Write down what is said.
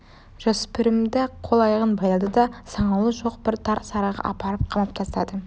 жасөспірімді қол аяғын байлады да саңылауы жоқ бір тар сарайға апарып қамап тастады